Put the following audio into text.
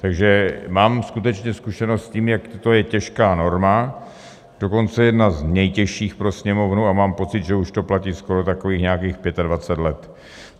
Takže mám skutečně zkušenost s tím, jak je to těžká norma, dokonce jedna z nejtěžších pro Sněmovnu, a mám pocit, že už to platí skoro takových nějakých 25 let.